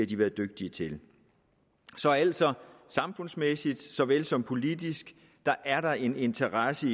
de været dygtige til så altså samfundsmæssigt såvel som politisk er der en interesse